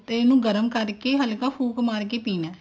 ਤੇ ਉਹਨੂੰ ਗਰਮ ਕਰਕੇ ਹਲਕਾ ਫੂਕ ਮਾਰ ਕੇ ਪੀਣਾ